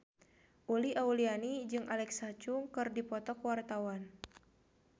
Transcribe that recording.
Uli Auliani jeung Alexa Chung keur dipoto ku wartawan